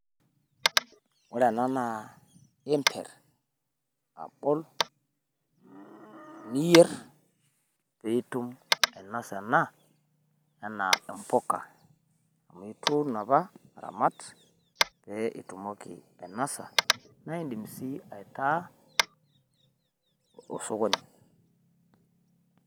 Ore ena naa iimpiir abool niyeer piitum ainosa anaa ena embukaa. Amu ituun epaa airamaat pee etumooki ainosa naa idiim si aitaa osokoni.